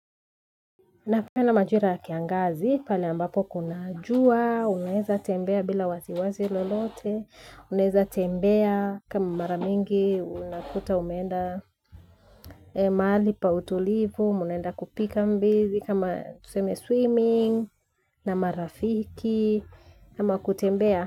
Napenapenda na majira ya kiangazi pale ambapo kuna jua, unaeza tembea bila wasiwasi lolote, unaeza tembea kama mara mingi unakuta umeenda mahali pa utulivu, mnaenda kupiga mbizi kama tuseme swimming na marafiki kama kutembea.